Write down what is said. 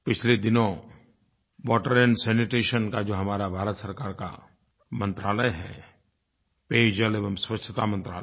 पिछले दिनों water and sanitation का जो हमारा भारत सरकार का मंत्रालय है पेयजल एवं स्वच्छता मंत्रालय